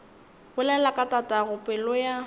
bolela ka tatago pelo ya